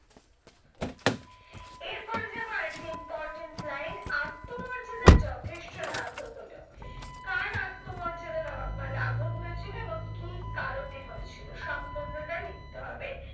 এরপরে যাবো আর একটা important line আত্মমর্যাদার যথেষ্ট লাঘব হলো। কার আত্মমর্যাদা লা মানে লাঘব হয়েছিল এবং কি কারণে হয়েছিল সম্পূর্ণটা লিখতে হবে।